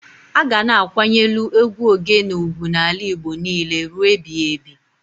A ga na-akwanyelu egwu Ogene ugwu n'ala Igbo n'ile rue ebiyebi